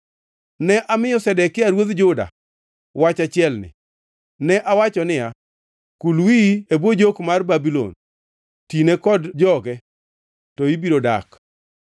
Ne amiyo Zedekia ruodh Juda wach achielni. Ne awacho niya, “Kul wiyi e bwo jok mar ruodh Babulon; tine kod joge, to ibiro dak.